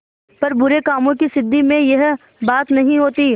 पर बुरे कामों की सिद्धि में यह बात नहीं होती